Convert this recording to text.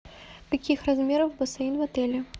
каких размеров бассейн в отеле